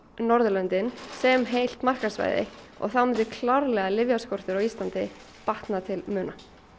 Norðurlöndin sem heilt markaðssvæði og þá myndi klárlega lyfjaskortur á Íslandi batna til muna